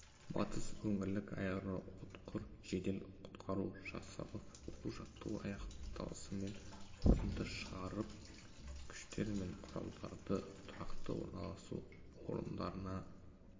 батыс өңірлік аэроұтқыр жедел құтқару жасағы оқу-жаттығу аяқталысымен қорытынды шығарып күштер мен құралдарды тұрақты орналасу орындарына